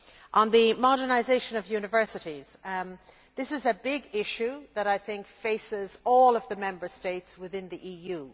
On the modernisation of universities, this is a big issue that, I think, faces all the Member States of the EU.